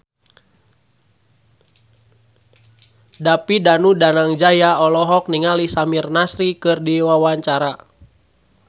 David Danu Danangjaya olohok ningali Samir Nasri keur diwawancara